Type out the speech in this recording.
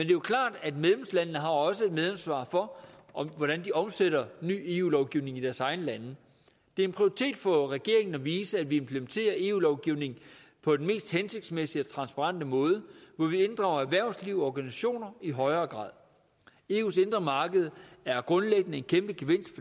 jo klart at medlemslandene også har et medansvar for hvordan de omsætter ny eu lovgivning i deres egne lande det er en prioritet for regeringen at vise at vi implementerer eu lovgivning på den mest hensigtsmæssige og transparente måde hvor vi inddrager erhvervslivet og organisationer i højere grad eus indre marked er grundlæggende en kæmpe gevinst